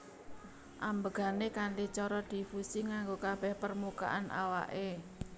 Ambegané kanthi cara difusi nganggo kabeh permukaan awake